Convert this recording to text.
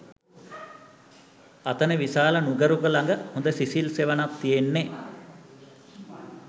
අතන විශාල නුගරුක ළඟ හොඳ සිසිල් සෙවණක් තියෙන්නෙ